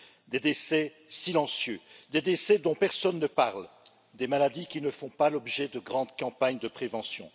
Des décès silencieux, des décès dont personne ne parle, des maladies qui ne font pas l'objet de grandes campagnes de prévention.